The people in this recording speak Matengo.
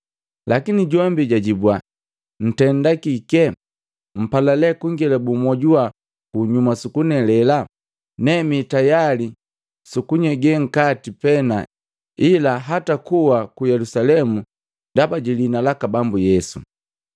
Lakini jombi jwajibwa, “Ntendaki kike, mpala lee kungelebu mojuwa kunyuma sukunelela? Ne mi tayali si kunyege nkati pena ila hata kuwa ku Yelusalemu ndaba jiliina laka Bambu Yesu.”